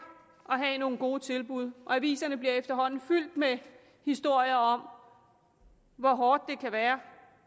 at have nogle gode tilbud aviserne bliver efterhånden fyldt med historier om hvor hårdt det kan være